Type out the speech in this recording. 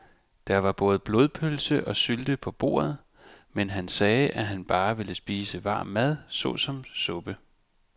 Der var både blodpølse og sylte på bordet, men han sagde, at han bare ville spise varm mad såsom suppe.